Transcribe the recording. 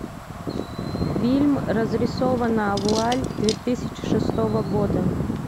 фильм разрисованная вуаль две тысячи шестого года